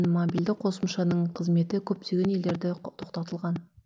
мобильді қосымшаның қызметі көптеген елдерде тоқтатылған